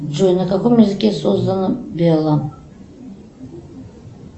джой на каком языке создана белла